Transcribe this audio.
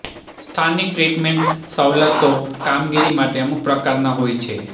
સ્થાનિક ટ્રીટમેન્ટ સવલતો કામગીરી માટે અમુક પ્રકારના હોય છે